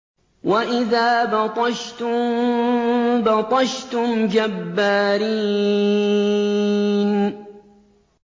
وَإِذَا بَطَشْتُم بَطَشْتُمْ جَبَّارِينَ